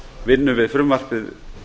vinnu við frumvarpið